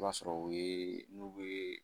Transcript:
I b'a sɔrɔ u ye n'u be